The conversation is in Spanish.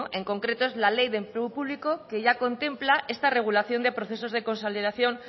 en concreto es la ley de empleo público que ya contempla esta regulación de procesos de consolidación